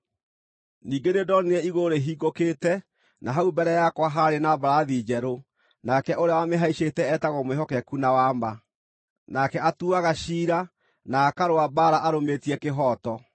Ningĩ nĩndonire igũrũ rĩhingũkĩte na hau mbere yakwa haarĩ na mbarathi njerũ, nake ũrĩa wamĩhaicĩte etagwo Mwĩhokeku na Wa-ma. Nake atuuaga ciira, na akarũa mbaara arũmĩtie kĩhooto.